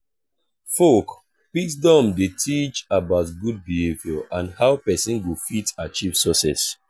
folk wisdom de teach about good behavior and how persin go fit achieve success